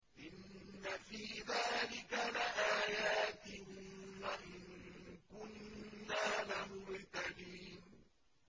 إِنَّ فِي ذَٰلِكَ لَآيَاتٍ وَإِن كُنَّا لَمُبْتَلِينَ